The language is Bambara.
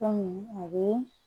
a bɛ